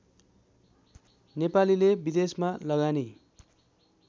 नेपालीले विदेशमा लगानी